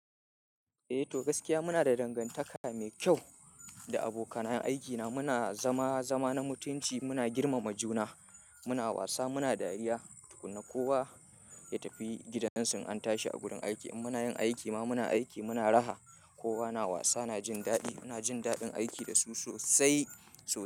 Eh to gaskiya muna da dangantaka mai kyau da abokanan aiki namu Muna zama zama na mutunci, muna girmama juna, muna wasa, muna dariya. Tukun na kowa ya tafi gidansu in an tashi a gurin aiki. In muna yin aiki ma muna aiki, muna raha. Kowa na wasa, na jin daɗi, muna jin daɗin aiki da su sosai sosai.